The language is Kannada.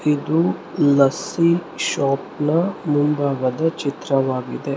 ಇದು ಲಸ್ಸಿ ಶಾಪ್ ನ ಮುಂಭಾಗದ ಚಿತ್ರವಾಗಿದೆ.